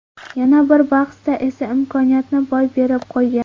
Yana bir bahsda esa imkoniyatni boy berib qo‘ygan.